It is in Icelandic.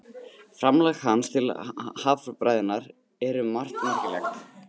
Framlag hans til haffræðinnar er um margt merkilegt.